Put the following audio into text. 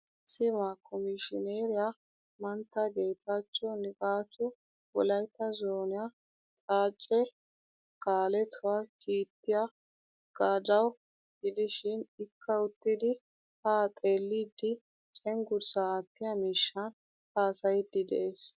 Sima komishineeriya mantta getacho nigatu wolaytta zooniyaa xaace kaaletuwaa kiittiyaa gadaawa gidishin ikka uttidi ha xeelidi cenggurssa aattiya miishshan haasayidi de'ees.